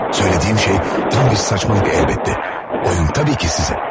Söylədiyim şey tam bir saçmalık əlbəttə, oyun təbii ki sizin.